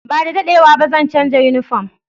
Ba da daɗewa ba, zan canza yunifom.